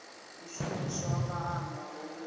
u shumiswa ha maanḓa ho